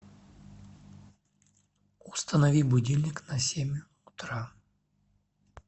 установи будильник на семь утра